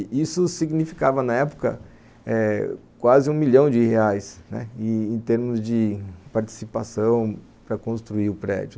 E isso significava, na época, eh quase um milhão de reais em termos de participação para construir o prédio.